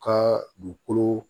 U ka dugukolo